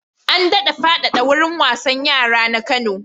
An daɗa faɗaɗa wurin wasan yara na Kano.